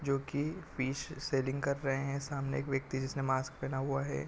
जो की पिस सेलिंग कर रहै है सामने एक व्यक्ति है जिसने मास्क पहना हुआ है।